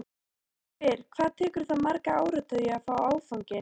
Ég spyr, hvað tekur það marga áratugi að fá afganginn?